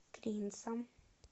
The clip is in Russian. клинцам